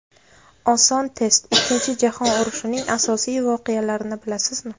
Oson test: Ikkinchi jahon urushining asosiy voqealarini bilasizmi?.